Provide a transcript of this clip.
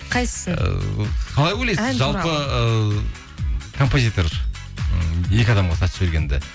қайсысын ііі қалай ойлайсыз жалпы ы композитор ы екі адамға сатып жібергенді